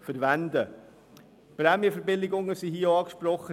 Es werden hier auch Prämienverbilligungen angesprochen.